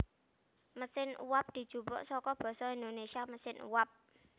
Mesin uwab dijupuk saka basa Indonésia mesin uap